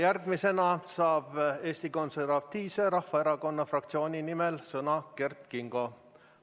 Järgmisena saab Eesti Konservatiivse Rahvaerakonna fraktsiooni nimel sõna Kert Kingo.